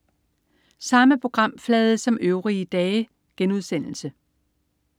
Samme programflade som øvrige dage*